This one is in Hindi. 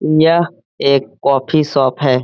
यह एक कॉफी शॉप है।